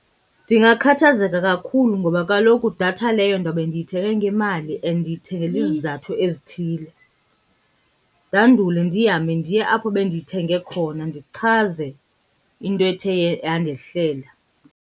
Ndingakhathazeka kakhulu ngoba kaloku datha leyo ndawube ndiyithenge ngemali and ndiyithengele izizathu ezithile. Ndandule ndihambe ndiye apho bendiyithenge khona ndichaze into ethe yandehlela.